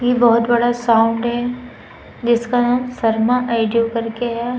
ये बहोत बड़ा साउंड है। जिसका नाम शर्मा औडियो करके है।